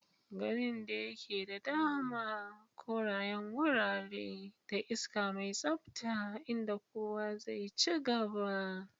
Garin da ke da dama, korayen wurare, da iska mai tsabta inda kowa zai ci gaba.